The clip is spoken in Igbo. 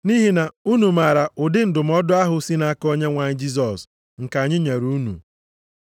Nʼihi na unu maara ụdị ndụmọdụ ahụ sị nʼaka Onyenwe anyị Jisọs nke anyị nyere unu.